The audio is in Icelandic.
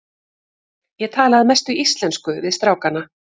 Ég tala að mestu íslensku við strákana.